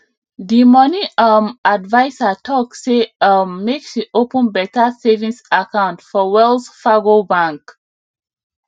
di money um adviser talk say um make she open better savings account for wells fargo bank